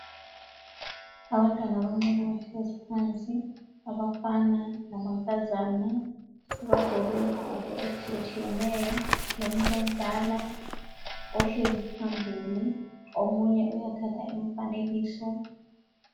Abantwana abancane bahlezi phansi abafana lamankazana bagqoke izigqoko ezitshiye tshiyeneyo lomuntu omdala ohlezi phambili, omunye uyathatha imifanekiso.